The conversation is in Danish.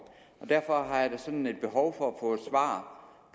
derfor har jeg da sådan et behov for